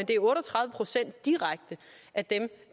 det er otte og tredive procent direkte af dem